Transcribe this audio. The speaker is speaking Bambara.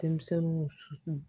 Denmisɛnninw su